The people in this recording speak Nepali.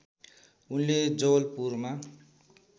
उनले जवलपुरमा